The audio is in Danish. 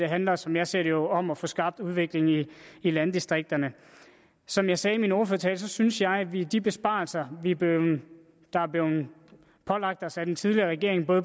handler som jeg ser det jo om at få skabt udvikling i landdistrikterne som jeg sagde i min ordførertale synes jeg at vi i de besparelser der er blevet pålagt os af den tidligere regering for